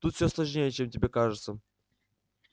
тут все сложнее чем тебе кажется